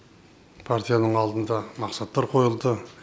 партияның алдында мақсаттар қойылды